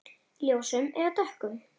Ljósum eða dökkum?